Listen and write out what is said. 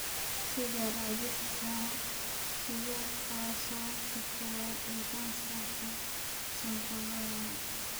Sigaar cabista sigaarku waa sababta koowaad ee kansarka sanbabada.